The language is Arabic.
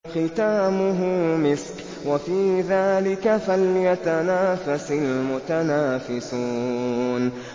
خِتَامُهُ مِسْكٌ ۚ وَفِي ذَٰلِكَ فَلْيَتَنَافَسِ الْمُتَنَافِسُونَ